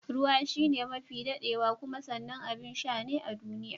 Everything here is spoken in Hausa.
Ruwa shine mafi daɗaɗɗewa kuma sanannen abin sha ne a duniya.